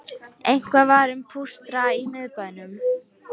Eitthvað var um pústra í miðbænum